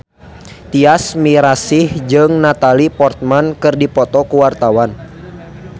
Tyas Mirasih jeung Natalie Portman keur dipoto ku wartawan